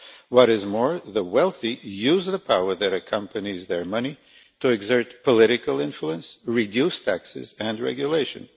What is more, the wealthy use the power that accompanies their money to exert political influence and reduce taxes and regulation.